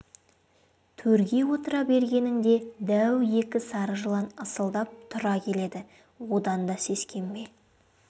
төрге отыра бергеніңде дәу екі сары жылан ысылдап тұра келеді одан да сескенбе